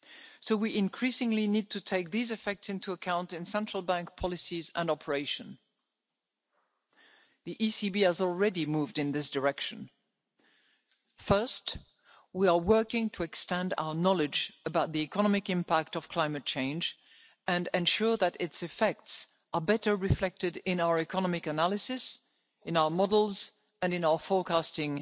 So we increasingly need to take these effects into account in central banks' policies and operations. The ECB has already moved in this direction. First, we are working to extend our knowledge about the economic impact of climate change and ensure that its effects are better reflected in our economic analyses, in our models and in our forecasting